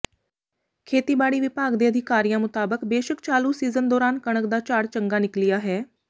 ਖੇਤੀਬਾੜੀ ਵਿਭਾਗ ਦੇ ਅਧਿਕਾਰੀਆਂ ਮੁਤਾਬਕ ਬੇਸ਼ੱਕ ਚਾਲੂ ਸੀਜ਼ਨ ਦੌਰਾਨ ਕਣਕ ਦਾ ਝਾੜ ਚੰਗਾ ਨਿਕਲਿਆ ਹੈ